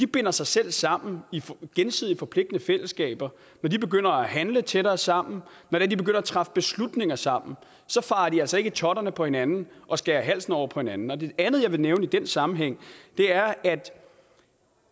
binder sig selv sammen i gensidigt forpligtende fællesskaber når de begynder at handle tættere sammen når de begynder at træffe beslutninger sammen så farer de altså ikke i totterne på hinanden og skærer halsen over på hinanden det andet jeg vil nævne i den sammenhæng er at